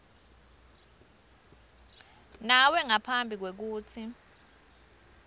nawe ngaphambi kwekutsi